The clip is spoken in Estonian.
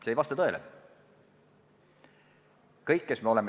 See ei vasta tõele.